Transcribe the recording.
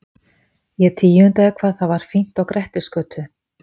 Ég tíundaði hvað það var fínt á Grettisgötu.